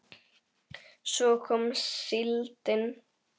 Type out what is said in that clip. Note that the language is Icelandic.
Svo kom síldin.